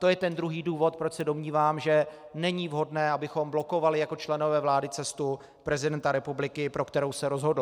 To je ten druhý důvod, proč se domnívám, že není vhodné, abychom blokovali jako členové vlády cestu prezidenta republiky, pro kterou se rozhodl.